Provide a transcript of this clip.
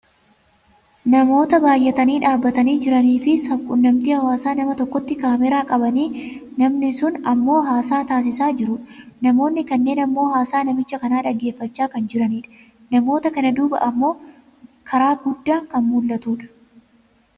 Namoota baayyatanii dhaabbatanii jiraniifi sabquunnamtii hawaasaa nama tokkotti kaameraa qabanii Namni sun ammoo haasaa taasisaa jirudha. Namoonni kanneen ammoo haasaa namicha kana dhaggeeffachaa kan jiranidha. namoota kana duubaa ammoo karaa guddaan kan mul'atudha.